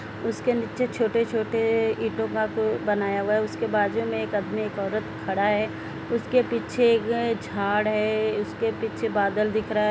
उसके नीचे छोटे छोटे ईंटो का कु बनाया हुआ हैं उसके बाजू में एक आदमी एक औरत खड़ा हैं उसके पीछे एक झाड है उसके पीछे बादल दिख रहा है।